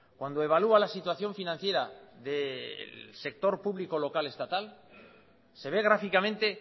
cuando evalúa la situación financiera del sector público local estatal se ve gráficamente